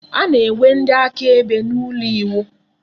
A na-enwe ndị akaebe n'ụlọ iwu.